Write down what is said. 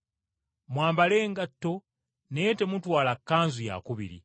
Mwambale engatto naye temutwala kkanzu yakubiri.”